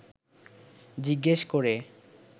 জিজ্ঞেস করে